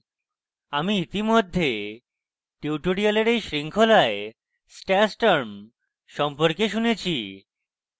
আমরা ইতিমধ্যে tutorial এই শৃঙ্খলায় stash term সম্পর্কে শুনেছি